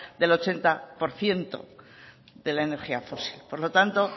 del ochenta por ciento de la energía fósil por lo tanto